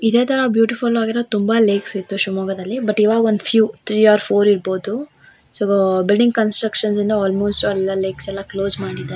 ಇದೆ ತರ ಬ್ಯೂಟಿಫುಲ್ ಆಗಿರೊ ತುಂಬಾ ಲೇಕ್ಸ್ ಇತ್ತು ಶಿವಮೊಗ್ಗದಲ್ಲಿ ಬಟ್ ಇವಾಗ ಒಂದು ಫಿವ್ ತ್ರೀ ಆರ್ ಫೋರ್ ಇರ್ಬೋದು ಸೊ ಬಿಲ್ಡಿಂಗ್ ಕನ್ಸ್ ಸ್ಟ್ರಕ್ಷನಿಂದ ಆಲ್ಮೋಸ್ಟ್ ಅಲ್ಲ ಲೇಕ್ಸ್ ಕ್ಲೋಸ್ ಮಾಡಿದಾ --